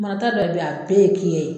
Marata bɛɛ bɛ ya a bɛɛ ye kiyɛn ye.